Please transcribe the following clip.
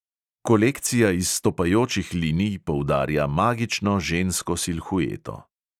Kolekcija izstopajočih linij poudarja magično žensko silhueto.